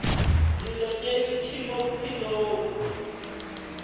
dilo tše ntši mo bophelong